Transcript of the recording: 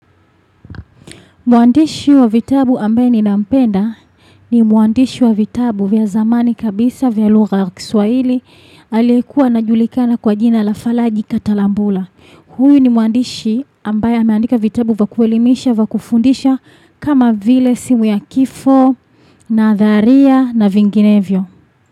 Muandishi wa vitabu ambaye ni nampenda ni muandishi wa vitabu vya zamani kabisa vya lugha kiswaili alikuwa anajulikana kwa jina la fala jikatalambula. Huyo ni muandishi ambaye ameandika vitabu vya kuelimisha vya kufundisha kama vile simu ya kifo na dharia na vinginevyo.